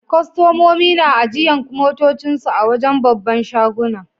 Kustomomi na ajiyan motocin su a'wajen' babban shagunan.